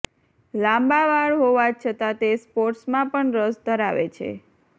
લાંબા વાળ હોવા છતાં તે સ્પોર્ટ્સમાં પણ રસ ધરાવે છે